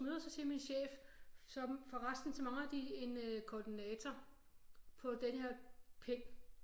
Møder så siger min chef som forresten så mangler de en koordinator på denne her pind